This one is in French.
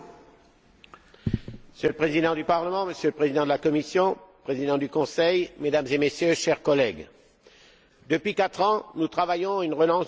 Monsieur le Président du Parlement, Monsieur le Président de la Commission, Monsieur le Président du Conseil, Mesdames et Messieurs, chers collègues, depuis quatre ans, nous travaillons à une relance de l'économie européenne.